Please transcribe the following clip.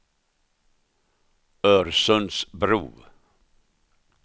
Örsundsbro